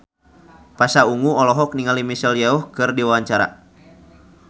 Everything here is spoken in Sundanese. Pasha Ungu olohok ningali Michelle Yeoh keur diwawancara